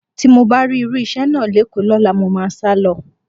Tí mo bá rí irú iṣẹ́ náà lÉkòó lọ́la, mo máa sálọ